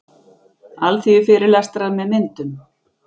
Alþýðufyrirlestrar með myndum.